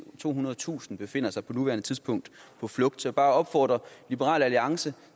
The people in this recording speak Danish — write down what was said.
tohundredetusind befinder sig på nuværende tidspunkt på flugt så bare opfordre liberal alliance